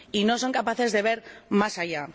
Y no son capaces de ver más allá.